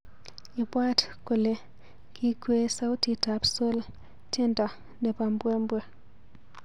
Ibwat kole kikwee sautitab sol tyendo nebo mbwe mbwe